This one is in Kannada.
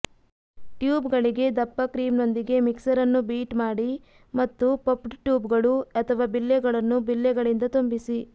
ಟ್ಯೂಬ್ಗಳಿಗೆ ದಪ್ಪ ಕ್ರೀಮ್ನೊಂದಿಗೆ ಮಿಕ್ಸರ್ ಅನ್ನು ಬೀಟ್ ಮಾಡಿ ಮತ್ತು ಪಫ್ಡ್ ಟ್ಯೂಬ್ಗಳು ಅಥವಾ ಬಿಲ್ಲೆಗಳನ್ನು ಬಿಲ್ಲೆಗಳಿಂದ ತುಂಬಿಸಿ